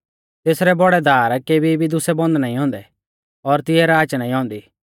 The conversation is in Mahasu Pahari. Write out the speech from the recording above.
तेसरै बौड़ै दार केभी भी दुसै बन्द नाईं औन्दै और तिऐ राच नाईं औन्दी